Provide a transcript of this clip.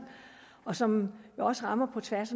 og som også rammer på tværs